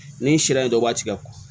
Ni sariya in dɔ b'a tigɛ kɔ